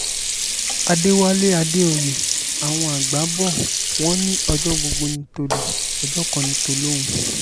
àdẹ̀wálé àdèoyè àwọn àgbà bò wọ́n ní ọjọ́ gbogbo ní tò̩lé̩ ọjọ́ kan ní tò̩lóhùn